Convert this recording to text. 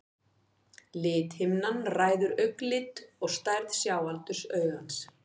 Lithimnan ræður augnlit og stærð sjáaldurs augans.